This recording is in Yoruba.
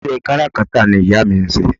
Ìṣe kárakátà ni ìyá mi ń ṣe